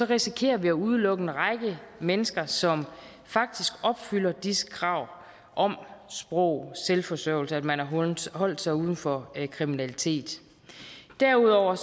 risikerer vi at udelukke en række mennesker som faktisk opfylder disse krav om sprog selvforsørgelse at man har holdt sig uden for kriminalitet derudover